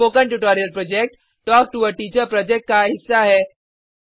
spoken tutorial project talk to a teacher project का हिस्सा है